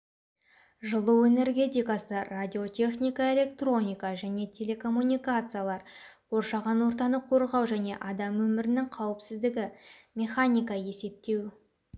жылу энергетикасы радиотехника электроника және телекоммуникациялар қоршаған ортаны қорғау және адам өмірінің қауіпсіздігі механика есептеу